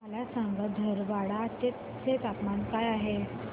मला सांगा धारवाड चे तापमान काय आहे